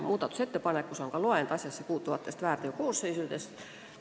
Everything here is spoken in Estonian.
Muudatusettepanekus on ka loend asjassepuutuvatest väärteokoosseisudest.